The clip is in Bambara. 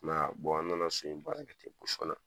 I m'a yaa, an nana so in baara kɛ ten posɔn na